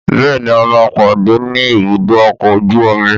Bẹ́ẹ̀ni a máa pàdé ni ibùdó ọkọ̀ ojú omi